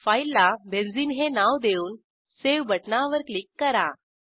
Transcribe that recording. फाईलला बेन्झीन हे नाव देऊन सावे बटणावर क्लिक करा